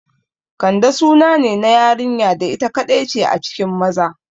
Kande sunane na yarinya da ita kaɗai ce a cikin maza